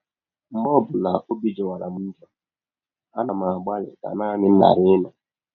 “ Mgbe ọ bụla ọbi jọwara m njọ, ana m agbalị ka naanị m ghara ịnọ.